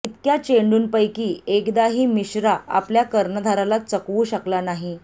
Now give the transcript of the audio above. इतक्या चेंडूंपैकी एकदाही मिश्रा आपल्या कर्णधाराला चकवू शकला नाही